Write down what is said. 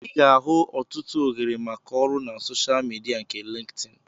Ị ga-ahụ ọtụtụ ohere maka ọrụ na soshal midia nke Lintin